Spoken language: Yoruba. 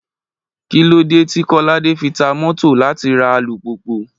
Kí ló dé tí Kọ́ládé fi ta mọ́tò láti ra alùpùpù?